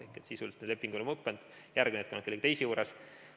Ehk sisuliselt nende inimeste lepingud on lõppenud, järgmine hetk on nad kellegi teise juures.